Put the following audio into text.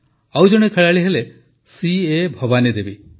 ଆଉ ଜଣେ ଖେଳାଳି ହେଲେ ସିଏ ଭବାନୀ ଦେବୀ